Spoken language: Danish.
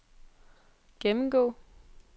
gennemgå